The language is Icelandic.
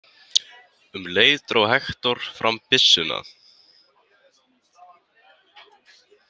Um leið dró Hektor fram byssuna.